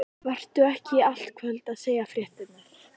Vertu ekki í allt kvöld að segja fréttirnar.